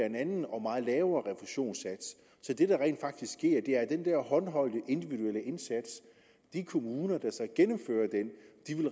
en anden og meget lavere refusionssats så det der rent faktisk sker er at den der håndholdte individuelle indsats i de kommuner der så gennemfører den